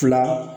Fila